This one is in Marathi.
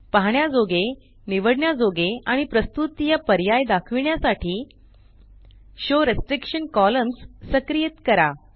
पाहण्याजोगे निवडण्याजोगे आणि प्रस्तुततिय पर्याय दाखविण्यासाठी शो रिस्ट्रिक्शन कॉलम्न्स सक्रियित करा